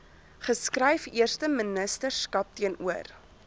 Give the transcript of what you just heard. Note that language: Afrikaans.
geskryf eersteministerskap teenoor